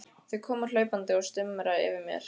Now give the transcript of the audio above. Þau koma hlaupandi og stumra yfir mér.